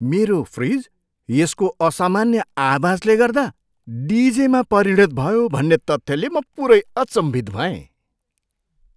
मेरो फ्रिज यसको असामान्य आवाजले गर्दा डिजेमा परिणत भयो भन्ने तथ्यले म पुरै अचम्भित भएँ!